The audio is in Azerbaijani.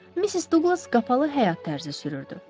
Missis Duqlas qapalı həyat tərzi sürürdü.